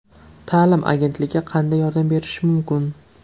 Ta’lim agentligi qanday yordam berishi mumkin?